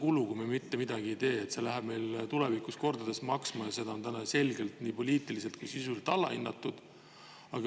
See läheb meile tulevikus kordades maksma ja seda on täna selgelt nii poliitiliselt kui ka sisuliselt alahinnatud.